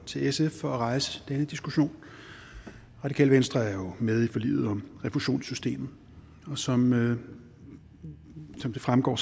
til sf for at rejse denne diskussion radikale venstre er jo med i forliget om refusionssystemet og som som det fremgår